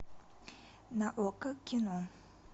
на окко кино